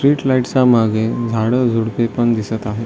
Street light च्या मागे झाडं झुडपे पण दिसत आहे.